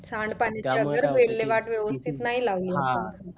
सांड पाणी विल्हेवाट व्यवस्तीत नाही लावली अह